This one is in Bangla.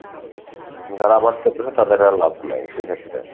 যারা আবাদ করতেসে তাদের আবার লাভ নাই সেইক্ষেত্রে,